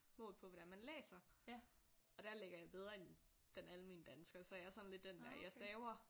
Målt på hvordan man læser og der ligger jeg bedre end den almene dansker så jeg er sådan lidt den der jeg staver